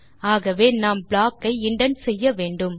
ஆகவே நாம் ப்ளாக் ஐ இண்டென்ட் செய்ய வேண்டும்